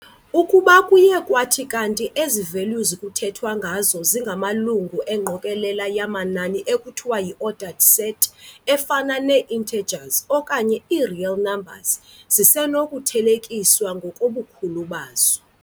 Ukuba kuye kwathi kanti ezi values kuthethwa ngazo zingamalungu engqokolela yamanani ekuthiwa yi-ordered set, efana nee-intergers okanye ii-real numbers, zisenokuthelekiswa ngokobukhulu bazo.